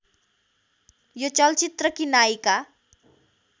यो चलचित्रकी नायिका